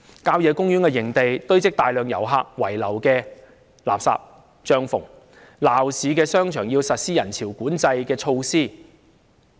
郊野公園營地堆積大量遊客遺留的垃圾、帳篷，鬧市的商場要實施人潮管制措施。